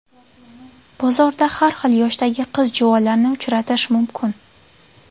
Bozorda har xil yoshdagi qiz-juvonlarni uchratish mumkin.